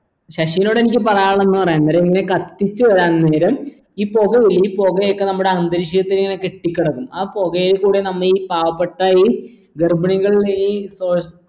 ശശിനോടെനിക്ക് പറയാനുള്ളതെന്ന് പറയാൻ നേരം ഇങ്ങനെ കത്തിച്ചു പറയാൻ നേരം ഈ പൊക ഉള്ളിൽ ഈ പൊക ഒക്കെ നമ്മടെ അന്തരീക്ഷത്തിൽ ഇങ്ങനെ കെട്ടികിടക്കും ആ പൊകയിൽ കുടെ നമീ പാവപെട്ട ഈ ഗർഭിണികളുടെ ഈ